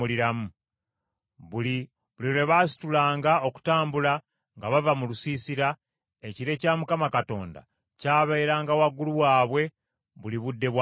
Buli lwe baasitulanga okutambula nga bava mu lusiisira, ekire kya Mukama Katonda kyabeeranga waggulu waabwe buli budde bwa misana.